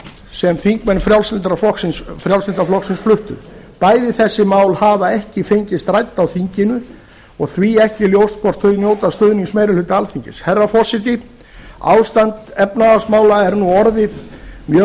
sem þingmenn frjálslynda flokksins fluttu bæði þessi mál hafa ekki fengist rædd á þinginu og því ekki ljóst hvort þau njóta stuðnings meiri hluta alþingis herra forseti ástand efnahagsmála er nú orðið mjög